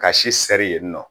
Ka si sɛri yen nɔ